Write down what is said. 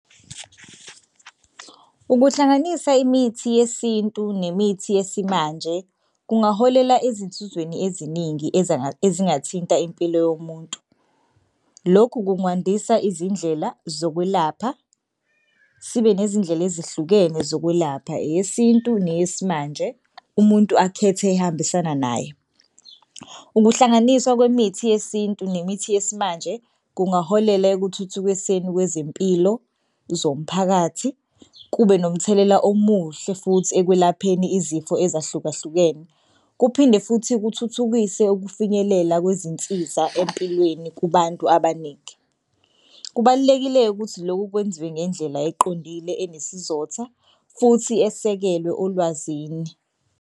Ukuhlanganisa imithi yesintu nemithi yesimanje kungaholela ezinsizweni eziningi ezingathinta impilo yomuntu. Lokhu kungandisa izindlela zokwelapha sibe nezindlela ezihlukene zokwelapha eyesintu neyesimanje umuntu akhethe ehambisana naye. Ukuhlanganiswa kwemithi yesintu nemithi yesimanje kungaholela ekuthuthukiseni kwezempilo zomphakathi kube nomthelela omuhle futhi ekwelapheni izifo ezahlukahlukene, kuphinde futhi kuthuthukise ukufinyelela kwezinsiza empilweni kubantu abaningi. Kubalulekile-ke ukuthi lokhu kwenziwe ngendlela eqondile enesizotha futhi esekelwe olwazini.